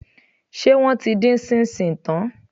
Ṣé wọ́n ti dín ṣíńṣíìn tán?